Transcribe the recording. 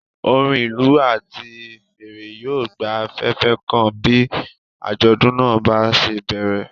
Orin ìlú àti fèrè yóò gba afẹ́fẹ́ kan bí àjọ̀dún náà bá ṣe bẹ̀rẹ̀.